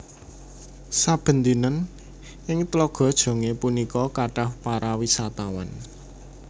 Saben dinten ing Tlaga Jongé punika kathah para wisatawan